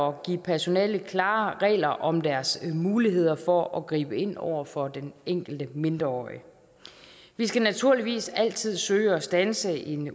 at give personalet klare regler om deres muligheder for at gribe ind over for den enkelte mindreårige vi skal naturligvis altid søge at standse en